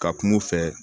Ka kum'u fɛ